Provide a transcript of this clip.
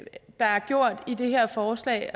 i det her forslag